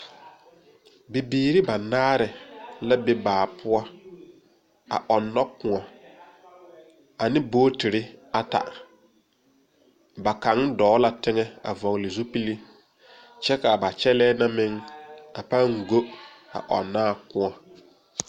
Bibiiri banaare la be baa poɔ a ɔnno kóɔ ane bɔgetere ata ba kaŋ dɔɔ la teŋa a vɔgle zupili kyɛ ka ba kyɛllɛɛ na mine a pãã go a ɔnno naa kóɔ.